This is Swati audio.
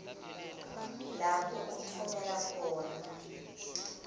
lapho utfumela khona